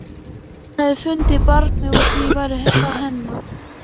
Hún hefði fundið barnið og því væri það hennar.